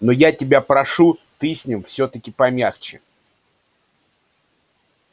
но я тебя прошу ты с ним всё-таки помягче